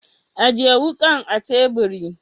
Ajiye wakan a teburi.